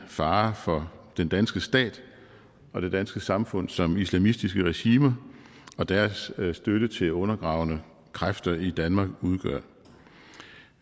faren for den danske stat og det danske samfund som islamistiske regimer og deres støtte til undergravende kræfter i danmark udgør